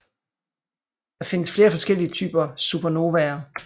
Der findes flere forskellige typer supernovaer